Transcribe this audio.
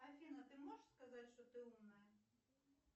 афина ты можешь сказать что ты умная